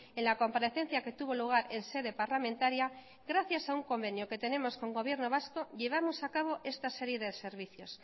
en la comparecencia que tuvo lugar en sede parlamentaria gracias a un convenio que tenemos con el gobierno vasco llevamos a cabo esta serie de servicios